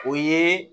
O ye